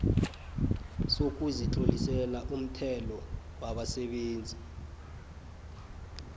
sokuzitlolisela umthelo wabasebenzi